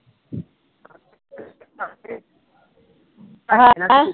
ਹੈਂ?